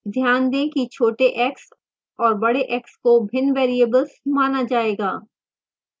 ध्यान दें कि छोटे x और बड़े x को भिन्न variables माना जाएगा